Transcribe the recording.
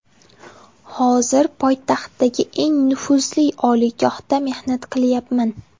Hozir poytaxtdagi eng nufuzli oliygohda mehnat qilayapman.